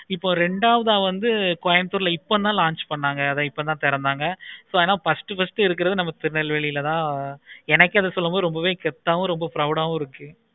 இப்போ ரெண்டாவது வந்து Coimbatore ல இப்போ தான் launch பண்ணாங்க இப்ப தான் துறந்தாங்க so அதனால first first இருக்குறது நமக்கு திருநெல்வேலில தான் எனக்கு அது சொல்லும் பொழுது ரொம்பவே கெத்தவும் proud ஆஹ் வும் வரேன்